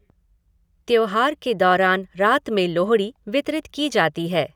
त्यौहार के दौरान रात में लोहड़ी वितरित की जाती है।